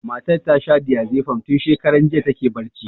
Matar ta sha diazepam, tun shakaran jiya ta ke barci.